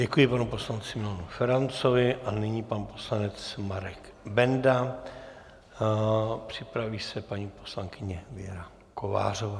Děkuji panu poslanci Milanu Ferancovi a nyní pan poslanec Marek Benda, připraví se paní poslankyně Věra Kovářová.